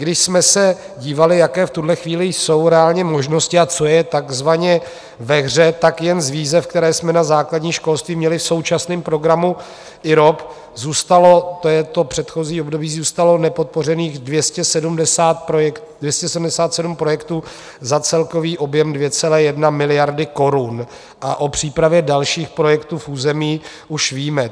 Když jsme se dívali, jaké v tuhle chvíli jsou reálně možnosti a co je takzvaně ve hře, tak jen z výzev, které jsme na základní školství měli v současném programu IROP, zůstalo - to je to předchozí období - zůstalo nepodpořených 277 projektů za celkový objem 2,1 miliardy korun a o přípravě dalších projektů v území už víme.